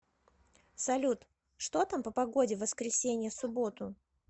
салют что там по погоде воскресенье субботу